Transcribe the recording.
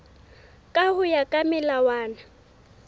ka ho ya ka melawana